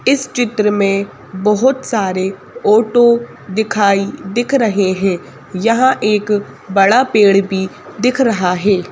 इस चित्र में बहुत सारे ओटो दिखाई दिख रहे हैं यहां एक बड़ा पेड़ भी दिख रहा है।